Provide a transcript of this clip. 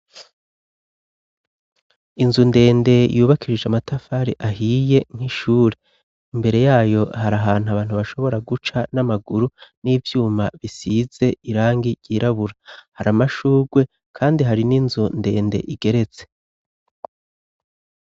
Inzu ndende yubakishije amatafari ahiye nk'ishure, imbere yayo hari ahantu abantu bashobora guca n'amaguru n'ivyuma bisize irangi ryirabura, hari amashugwe kandi hari n'inzu ndende igeretse.